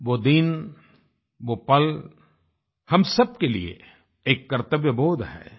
वो दिन वो पल हम सबके लिए एक कर्त्तव्यबोध है